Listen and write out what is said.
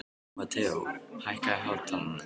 Mateó, hækkaðu í hátalaranum.